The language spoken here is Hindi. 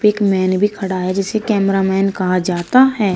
एक मैन भी खड़ा है जिसे कैमरामैन कहा जाता है।